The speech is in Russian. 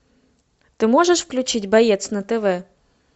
ты можешь включить боец на тв